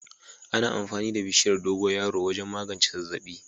Ana amfani da bishiyar dogoyaro wajen magance zazzabi.